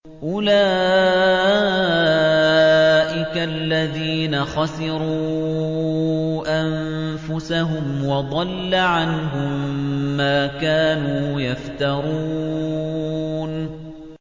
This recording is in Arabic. أُولَٰئِكَ الَّذِينَ خَسِرُوا أَنفُسَهُمْ وَضَلَّ عَنْهُم مَّا كَانُوا يَفْتَرُونَ